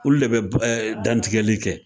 Olu de bɛ dantigɛli kɛ